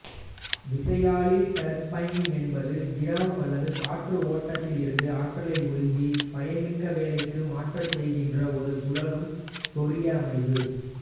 விசையாழி டர்பைன் என்பது திரவம் அல்லது காற்று ஓட்டத்திலிருந்து ஆற்றலை உறிஞ்சி பயன்மிக்க வேலைக்கு மாற்றச்செய்கின்ற ஒரு சுழலும் பொறியமைவு